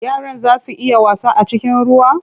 Yaran zaa su iya wasa a cikin ruwan?